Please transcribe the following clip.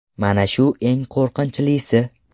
Mana shu eng qo‘rqinchlisi.